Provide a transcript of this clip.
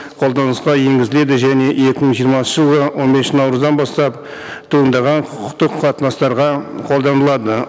қолданысқа енгізіледі және екі мың жиырмасыншы жылы он бесінші наурыздан бастап туындаған құқықтық қатынастарға қолданылады